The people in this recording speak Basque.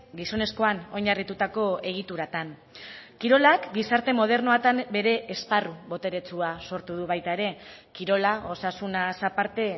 gizonezkoan oinarritutako egituratan kirolak gizarte modernoetan bere esparru boteretsua sortu du baita ere kirola osasunaz aparte